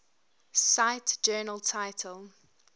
cite journal title